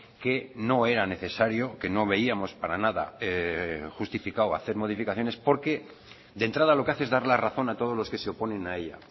que no era necesario que no veíamos para nada justificado hacer modificaciones porque de entrada lo que hace es dar la razón a todos los que se oponen a ella